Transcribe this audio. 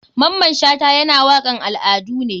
Maman shata yana wakan al adu ne.